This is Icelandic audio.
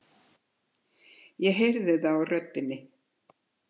Ég heyri það á röddinni.